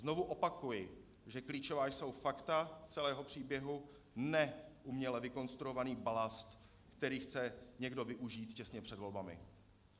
Znovu opakuji, že klíčová jsou fakta celého příběhu, ne uměle vykonstruovaný balast, který chce někdo využít těsně před volbami.